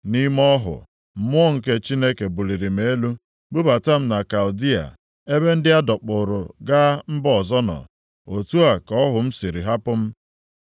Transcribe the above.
Nʼime ọhụ, Mmụọ nke Chineke buliri m elu bubata m na Kaldịa, ebe ndị a dọkpụụrụ gaa mba ọzọ nọ. Otu a ka ọhụ m hụrụ si hapụ m.